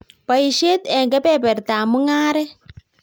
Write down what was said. Boishet eng kebebertab mung'aret